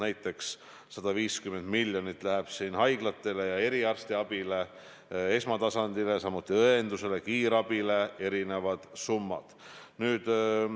Näiteks, 150 miljonit läheb haiglatele ja eriarstiabile, esmatasandile, samuti õendusele ja kiirabile lähevad erinevad summad.